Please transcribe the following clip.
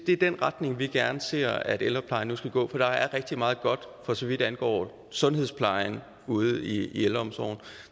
i den retning vi gerne ser at ældreplejen nu skal gå for der er rigtig meget godt for så vidt angår sundhedsplejen ude i ældreomsorgen